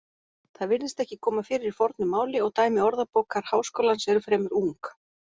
Það virðist ekki koma fyrir í fornu máli og dæmi Orðabókar Háskólans eru fremur ung.